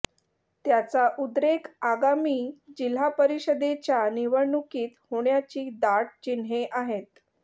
त्याचा उद्रेक आगामी जिल्हा परिषदेच्या निवडणुकीत होण्याची दाट चिन्हे आहेत